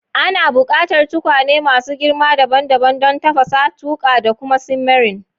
Ana buƙatar tukwane masu girma dabam dabam don tafasa, tuƙa, da kuma simmering.